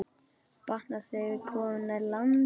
Batnar, þegar komum nær landi.